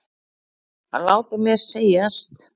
Að láta mér segjast?